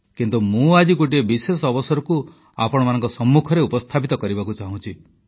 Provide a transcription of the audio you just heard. କିନ୍ତୁ ମୁଁ ଆଜି ଗୋଟିଏ ବିଶେଷ ଅବସରକୁ ଆପଣମାନଙ୍କ ସମ୍ମୁଖରେ ଉପସ୍ଥାପିତ କରିବାକୁ ଚାହୁଁଛି